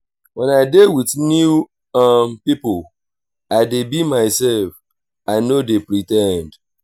wen i dey wit new um pipo i dey be mysef i no dey pre ten d.